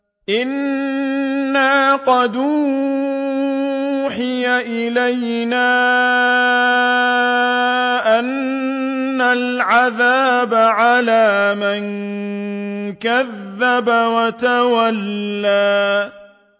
إِنَّا قَدْ أُوحِيَ إِلَيْنَا أَنَّ الْعَذَابَ عَلَىٰ مَن كَذَّبَ وَتَوَلَّىٰ